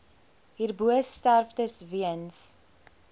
hierbo sterftes weens